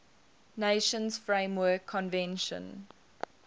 nations framework convention